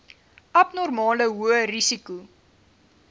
abnormale hoë risiko